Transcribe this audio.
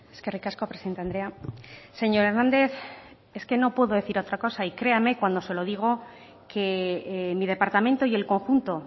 eskerrik asko presidente andrea señor hernández es que no puedo decir otra cosa y créame cuando se lo digo que mi departamento y el conjunto